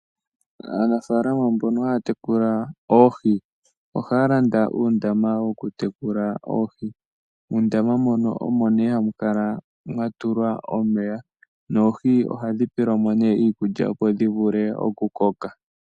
Aanafaalama mboka haya tekula oohi, ohaya landa uundama woku tekula oohi, muundama moka omo hamu kala mwatulwa omeya noohi ohadhi pelwa mo iikulya opo dhivule okukoka.